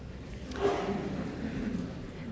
herre